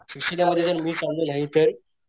मी नाही तर